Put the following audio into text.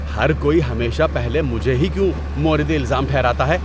ہر کوئی ہمیشہ پہلے مجھے ہی کیوں مورد الزام ٹھہراتا ہے؟